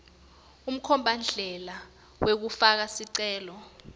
umkhombandlela wekufaka sicelo